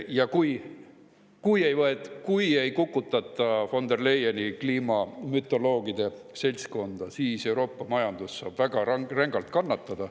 Ja kui ei kukutata von der Leyeni kliimamütoloogide seltskonda, siis Euroopa majandus saab väga rängalt kannatada.